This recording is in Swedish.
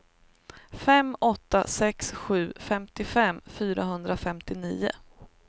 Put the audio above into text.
fem åtta sex sju femtiofem fyrahundrafemtionio